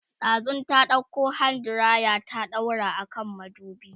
ɗazun ta ɗauko hand diraya ta daura a kan madubi